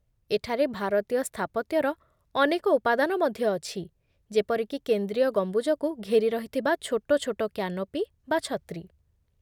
ଏଠାରେ ଭାରତୀୟ ସ୍ଥାପତ୍ୟର ଅନେକ ଉପାଦାନ ମଧ୍ୟ ଅଛି, ଯେପରିକି କେନ୍ଦ୍ରୀୟ ଗମ୍ବୁଜକୁ ଘେରି ରହିଥିବା ଛୋଟ ଛୋଟ କ୍ୟାନୋପି ବା ଛତ୍ରୀ।